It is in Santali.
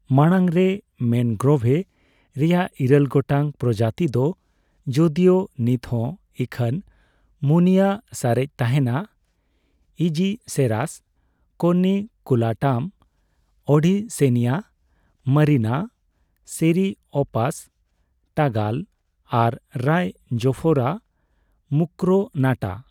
ᱢᱟᱲᱟᱝ ᱨᱮ ᱢᱮᱱᱜᱨᱳᱵᱷᱮ ᱨᱮᱭᱟᱜ ᱤᱨᱟᱹᱞ ᱜᱚᱴᱟᱝ ᱯᱨᱚᱡᱟᱛᱤ ᱫᱚ, ᱡᱚᱫᱤᱭᱚ ᱱᱤᱛ ᱦᱚᱸ ᱤᱠᱷᱟᱱ ᱢᱩᱱᱭᱟᱹ ᱥᱟᱨᱮᱡ ᱛᱟᱦᱮᱱᱟ, Aegiceras corniculatum, Avicennia marina, Ceriops tagal ᱟᱨ ᱨᱟᱭᱡᱳᱯᱷᱳᱨᱟ ᱢᱩᱠᱨᱚᱱᱟᱴᱟ ᱾